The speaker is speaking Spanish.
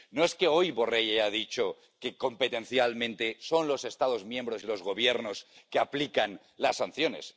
No es que hoy Borrell haya dicho que, competencialmente, son los Estados miembros y los gobiernos los que aplican las sanciones.